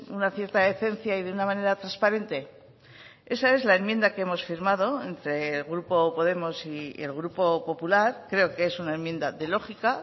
una cierta decencia y de una manera transparente esa es la enmienda que hemos firmado entre el grupo podemos y el grupo popular creo que es una enmienda de lógica